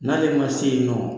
N'ale ma se yen nɔ